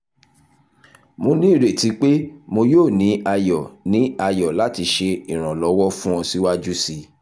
mo ni ireti pe mo yoo ni ayọ ni ayọ lati ṣe iranlọwọ fun ọ siwaju sii